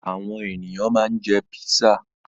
Àwọn ènìyàn ma ń jẹ́ písà